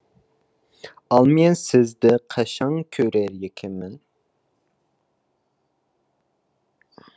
ал мен сізді қашан көрер екенмін